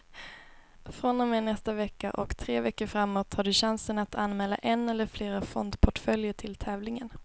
Från och med nästa vecka och tre veckor framåt har du chansen att anmäla en eller flera fondportföljer till tävlingen.